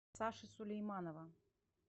саши сулейманова